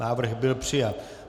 Návrh byl přijat.